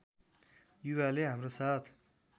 युवाले हाम्रो साथ